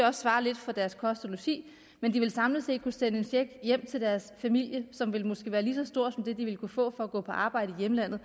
også svare lidt for deres kost og logi men de vil samlet set kunne sende en check hjem til deres familie som måske ville være lige så stor som den de ville kunne få for at gå på arbejde i hjemlandet